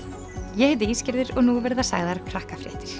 ég heiti og nú verða sagðar